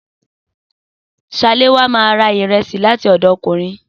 Saléwá ma ra ìrẹsì láti ọ̀dọ̀ Kóre.